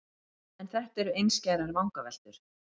En þetta eru einskærar vangaveltur.